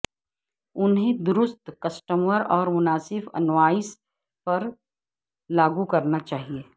انہیں درست کسٹمر اور مناسب انوائس پر لاگو کرنا چاہئے